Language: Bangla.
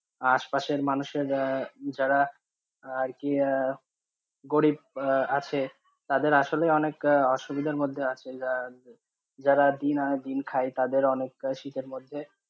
আশপাশের মানুষ এ যারা, যারা আর কি, গরিব আছে, তাদের আসলে অনেক অসুবিধার মধ্যে আছে, যারা দিন আনে দিন খাই, তাদের অনেক শীতের মধ্যে,